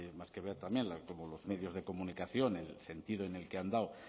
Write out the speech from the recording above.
más que ver también cómo los medios de comunicación en el sentido en el que han dado